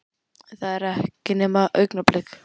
En það var ekki nema augnablik.